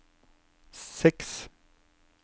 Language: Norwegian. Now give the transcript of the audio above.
seks